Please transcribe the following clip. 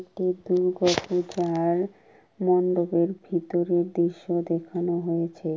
এটি মন্ডপের ভেতরের দৃশ্য দেখান হয়েছে।